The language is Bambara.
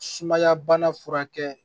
Sumaya bana furakɛ